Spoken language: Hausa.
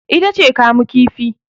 ita ce kamu kifi